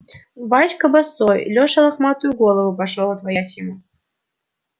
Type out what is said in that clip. васька босой чеша лохматую голову пошёл отворять ему